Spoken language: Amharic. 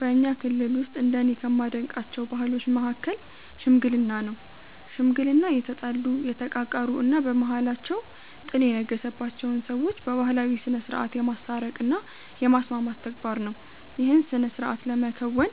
በኛ ክልል ውስጥ እንደኔ ከማደንቃቸው ባህሎች መሀከል "ሽምግልና" ነው። ሽምግልና የተጣሉ፣ የተቃቃሩ እና በመሃላቸው ጥል የነገሰባቸውን ሰዎች በባህላዊ ስነስርዓት የማስታረቅ እና የማስማማት ተግባር ነው። ይህን ስነስርዓት ለመከወን